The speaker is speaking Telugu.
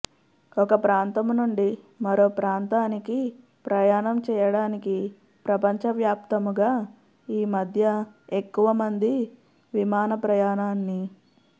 ఒక ప్రాంతము నుండి మరో ప్రాంతానికి ప్రయాణం చేయడానికి ప్రపంచ వ్యాప్తముగా ఈ మద్య ఎక్కువ మంది విమాన ప్రయాణాన్ని